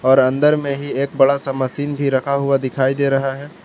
और अंदर में ही एक बड़ा सा मशीन भी रखा हुआ दिखाई दे रहा है।